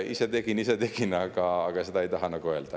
Ise tegin, ise tegin, aga seda te ei taha nagu öelda.